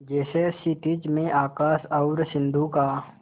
जैसे क्षितिज में आकाश और सिंधु का